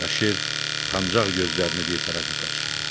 Bəşir utancaqlıq gözlərini bir tərəfə qaçırtdı.